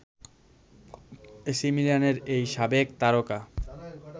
AC মিলানের এই সাবেক তারকা